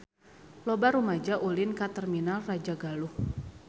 Loba rumaja ulin ka Terminal Rajagaluh